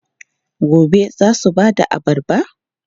Gobe ​​za su ba da abarba?